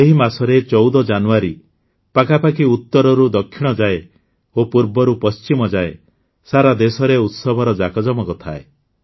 ଏହି ମାସରେ ୧୪ ଜାନୁଆରୀ ପାଖାପାଖି ଉତ୍ତରରୁ ଦକ୍ଷିଣ ଯାଏଁ ଓ ପୂର୍ବରୁ ପଶ୍ଚିମ ଯାଏଁ ସାରା ଦେଶରେ ଉତ୍ସବର ଯାକଯମକ ଥାଏ